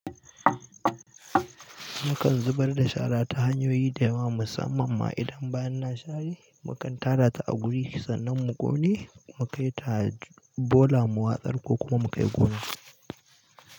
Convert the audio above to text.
Mukan zubar da shara ta hanyoyi da yawa musamman ma idan bayan na share mukan tara ta a guri sannan mu ƙone mu kai ta bola mu watsar ko kuma mu kai gona.